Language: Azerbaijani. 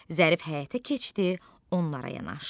Zərif həyətə keçdi, onlara yanaşdı.